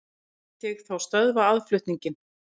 Lét ég þá stöðva aðflutninginn.